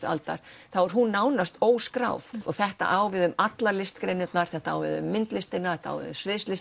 aldarinnar þá er hún nánast óskráð og þetta á við um allar listgreinarnar þetta á við um myndlistina